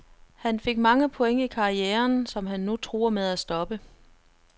Han fik mange point i karrieren, som han nu truer med at stoppe.